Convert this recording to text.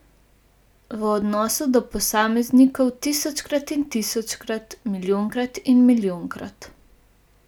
V odnosu do posameznikov tisočkrat in tisočkrat, milijonkrat in milijonkrat.